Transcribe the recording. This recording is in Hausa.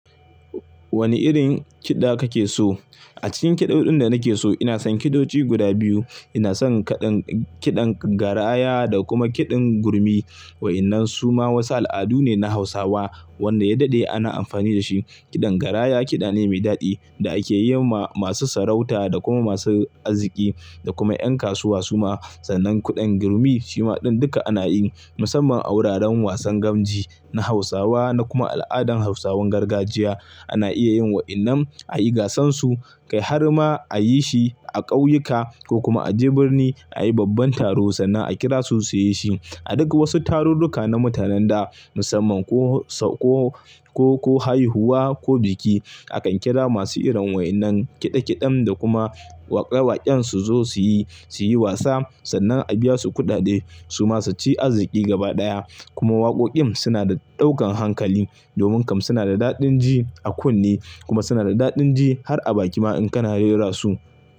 Wani irin kiɗa kake so? A cikin kiɗoɗin da nake so ina son kiɗodi guda biyu. Ina son kaɗan kiɗan garaya da kuma kiɗan gurmi. Wa'innan su ma wasu al'adu ne na Hausawa wanda ya daɗe ana amfani da shi. Kiɗan garaya kiɗa ne mai daɗi da ake yi ma masu sarauta da kuma masu arziki da kuma ƴan kasuwa su ma. Sannan kuɗin gurmi shi ma ɗin duka ana yi musamman a wuraren wasan gamji na Hausawa na kuma al'adan Hausawan gargajiya. Ana iya yin wa'innan a yi gasansu, kai har ma a yi shi a ƙauyuka ko kuma a je birni a yi babban taro sannan a kira su su yi shi. A duk wasu tarurruka na mutanen da musamman ko, ko, ko, ko haihuwa ko biki akan kira masu irin wa'innan kiɗa kiɗen da kuma waƙe waƙen su zo su yi, su yi wasa sannan a biya su kuɗaɗe su ma su ci arziki gaba ɗaya. Kuma waƙoƙin suna da ɗaukan hankali domin kam suna da daɗin ji a kunne kuma suna da daɗin ji har a baki ma in kana rera su.